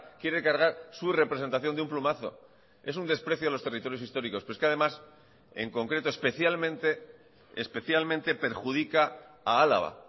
quiere cargar su representación de un plumazo es un desprecio a los territorios históricos pero es que además en concreto especialmente especialmente perjudica a álava